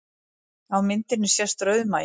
Á myndinni sést rauðmagi